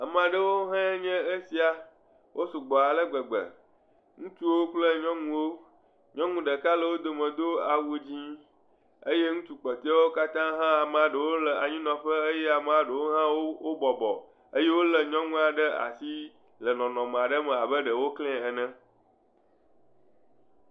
Ame aɖewo nye esia. Wo sɔgbɔ ale gbegbe. Ŋutsuwo kple nyɔnuwo. Nyɔnu aɖe le wodome do awu dzɛ eye ŋutsu kpɔteawo katã hã, amea ɖewo le anyi nɔƒe ke amea ɖewo hã wo bɔbɔ ke nyɔnua ɖe nɔ anyi nɔƒe le nɔnɔme ɖe me abe wò bɔbɔ eye wole nyɔnua ɖe asi le nɔnɔme aɖe me abe ɖewo klɛ ene